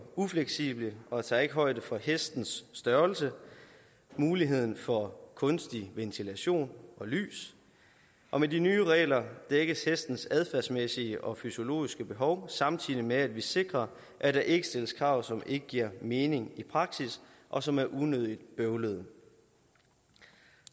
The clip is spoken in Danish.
ufleksible og tager ikke højde for hestens størrelse og muligheden for kunstig ventilation og lys med de nye regler dækkes hestens adfærdsmæssige og fysiologiske behov samtidig med at vi sikrer at der ikke stilles krav som ikke giver mening i praksis og som er unødig bøvlede